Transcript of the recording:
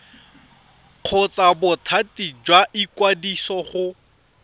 kgotsa bothati jwa ikwadiso go